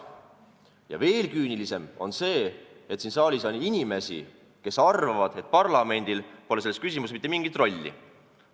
Ja veel küünilisem on see, et siin saalis on inimesi, kes arvavad, et parlamendil pole selles küsimuses mitte mingit rolli.